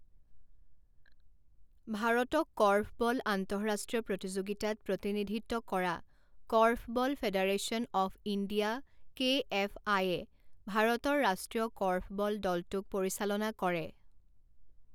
ভাৰতক কৰ্ফবল আন্তঃৰাষ্ট্ৰীয় প্ৰতিযোগিতাত প্ৰতিনিধিত্ব কৰা korfball federation of India K F আইয়ে ভাৰতৰ ৰাষ্ট্ৰীয় কৰ্ফবল দলটোক পৰিচালনা কৰে।